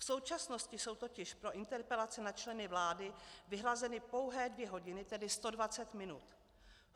V současnosti jsou totiž pro interpelace na členy vlády vyhrazeny pouhé dvě hodiny, tedy 120 minut.